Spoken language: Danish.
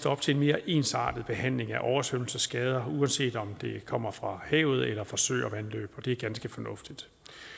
op til en mere ensartet behandling af oversvømmelsesskader uanset om de kommer fra havet eller fra søer og vandløb og det er ganske fornuftigt